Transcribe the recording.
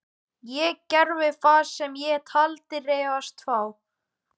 Ég gerði það sem ég taldi réttast. þá.